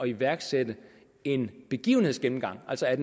iværksætte en begivenhedsgennemgang altså at